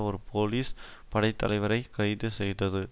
ஒரு போலீஸ் படைத்தலைவரை கைது செய்தது